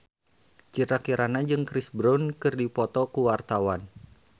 Citra Kirana jeung Chris Brown keur dipoto ku wartawan